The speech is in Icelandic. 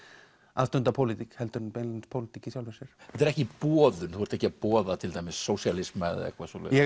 að stunda pólitík heldur en beinlínis pólitík í sjálfri sér þetta er ekki boðun þú ert ekki að boða til dæmis sósíalisma eða eitthvað svoleiðis ég